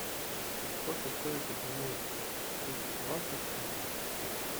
сколько стоит обменять тысячу баксов в фунты